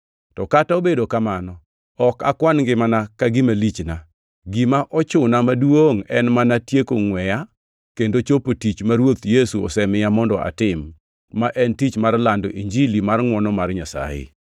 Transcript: To kata obedo kamano, ok akwan ngimana ka gima lichna; gima ochuna maduongʼ en mana tieko ngʼweya kendo chopo tich ma Ruoth Yesu osemiya mondo atim, ma en tich mar lando Injili mar ngʼwono mar Nyasaye.